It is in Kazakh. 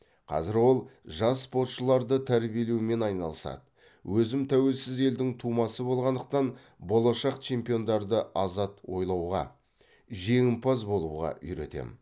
қазір ол жас спортшыларды тәрбиелеумен айналысады өзім тәуелсіз елдің тумасы болғандықтан болашақ чемпиондарды азат ойлауға жеңімпаз болуға үйретем